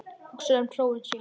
Hugsar um hróin sín.